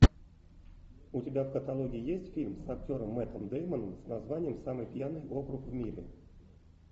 у тебя в каталоге есть фильм с актером мэттом дэймоном с названием самый пьяный округ в мире